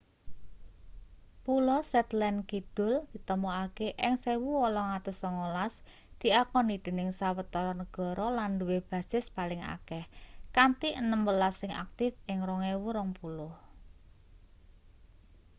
pulo shetland kidul ditemokake ing 1819 diakoni dening sawetara negara lan duwe basis paling akeh kanthi enem welas sing aktif ing 2020